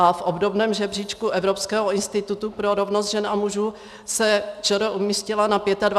A v obdobném žebříčku Evropského institutu pro rovnost žen a mužů se ČR umístila na 25. místě z 28 zemí.